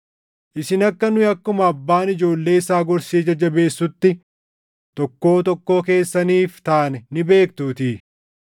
Isin akka nu akkuma abbaan ijoollee isaa gorsee jajjabeessutti tokkoo tokkoo keessaniif taane ni beektuutii;